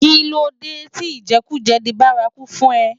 Kilódé ti ijèkújè di bàrákú fún è?